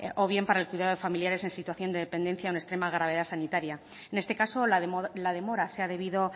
o bien para el cuidado de familiares en situación de dependencia o de extrema gravedad sanitaria en esta caso la demora se ha debido